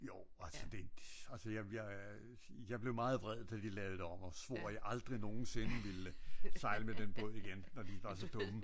Jo altså det jeg jeg blev meget vred da de lavede det om og svor at jeg aldrig nogensinde ville sejle med den båd igen når de var så dumme